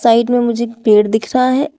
Side में मुझे एक पेड़ दिख रहा है।